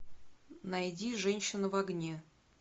найди женщина в огне